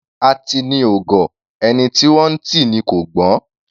Atini ò gọ̀; ẹni tí wọ́n ńtì ni kò gbọ́n.